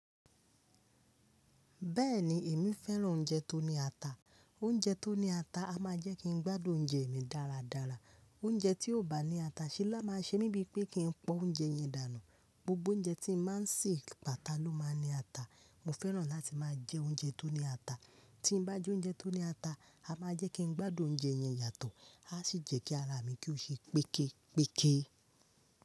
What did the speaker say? Bẹ́ẹ̀ni èmi fẹ́ràn oúnjẹ tó ní ata. Oúnjẹ tó ní ata a máa jẹ́ kí n gbádùn oúnjẹ mi dáradára. Oúnjẹ tí kò bá ní ata ṣẹ́ lá máa ṣe mí bíi pé kí n pọ́n oúnjẹ yẹn dànù. Gbogbo oúnjẹ tí màá ń sè, pata ló máa ní ata. Mo fẹ́ràn láti máa jẹ oúnjẹ tó ní ata. Tí bá jẹ́ oúnjẹ tó ní ata, a máa jẹ́ kí n gbádùn oúnjẹ yẹn yàtọ̀, a sì jẹ́ kí ara mi kí ó ṣe péképéke.